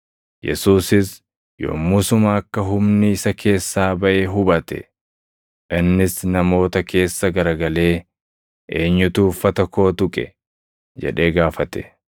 Yesuusis yommusuma akka humni isa keessaa baʼe hubate. Innis namoota keessa garagalee, “Eenyutu uffata koo tuqe?” jedhee gaafate.